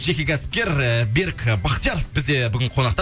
жеке кәсіпкер ііі берік бахтияров бізде бүгін қонақта